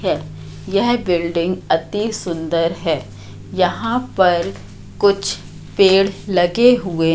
है यह बिल्डिंग अति सुंदर है यहां पर कुछ पेड़ लगे हुए--